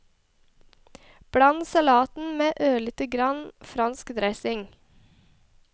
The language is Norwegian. Bland salaten med ørlite grann fransk dressing.